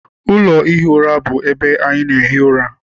Ụlọ ihi ura bụ ebe ana ehi ụra.